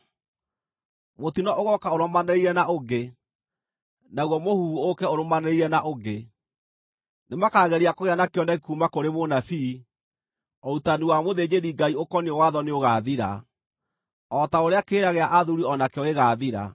Mũtino ũgooka ũrũmanĩrĩire na ũngĩ, naguo mũhuhu ũũke ũrũmanĩrĩire na ũngĩ. Nĩmakageria kũgĩa na kĩoneki kuuma kũrĩ mũnabii; ũrutani wa mũthĩnjĩri-Ngai ũkoniĩ watho nĩũgaathira, o ta ũrĩa kĩrĩra gĩa athuuri o nakĩo gĩgaathira.